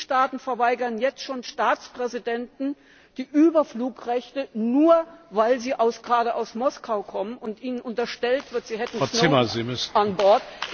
Mitgliedstaaten verweigern jetzt schon Staatspräsidenten die Überflugrechte, nur weil sie gerade aus Moskau kommen und ihnen unterstellt wird, sie hätten Snowden an